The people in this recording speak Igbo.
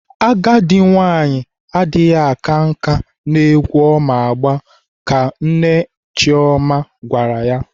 Agadi nwaanyị adịghị aka nkà n'egwu ọ ma agba ka Nne nne Chioma gwara ya.